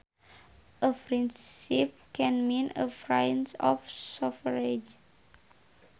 A princeps can mean a prince or sovereign